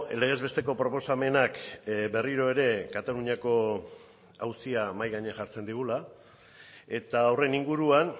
legezbesteko proposamenak berriro ere kataluniako auzia mahai gainean jartzen digula eta horren inguruan